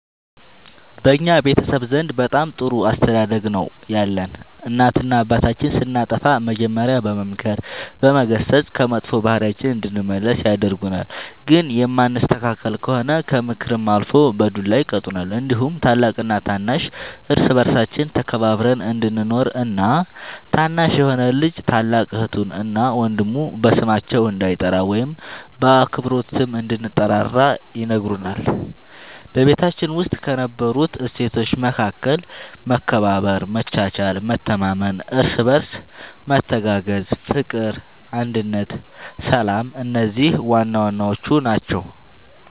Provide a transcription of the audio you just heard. በእኛ ቤተሰብ ዘንድ በጣም ጥሩ አስተዳደግ ነው ያለን እናትና አባታችን ስናጠፋ መጀሪያ በመምከር በመገሰፅ ከመጥፎ ባህሪያችን እንድንመለስ ያደርጉናል ግን የማንስተካከል ከሆነ ከምክርም አልፎ በዱላ ይቀጡናል እንዲሁም ታላቅና ታናሽ እርስ በርሳችን ተከባብረን እንድንኖር እና ታናሽ የሆነ ልጅ ታላቅ እህቱን እና ወንድሙ በስማቸው እንዳይጠራ ወይም በአክብሮት ስም እንድንጠራራ ይነግሩናል በቤታችን ውስጥ ከነበሩት እሴቶች መካከል መከባበር መቻቻል መተማመን እርስ በርስ መተጋገዝ ፍቅር አንድነት ሰላም እነዚህ ዋናዋናዎቹ ናቸው